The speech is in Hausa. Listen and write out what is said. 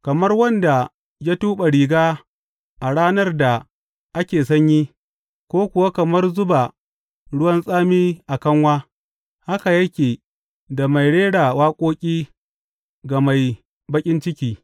Kamar wanda ya tuɓe riga a ranar da ake sanyi, ko kuwa kamar zuba ruwan tsami a kanwa, haka yake da mai rera waƙoƙi ga mai baƙin ciki.